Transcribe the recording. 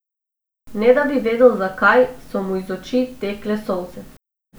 Ne da bi vedel zakaj, so mu iz oči tekle solze.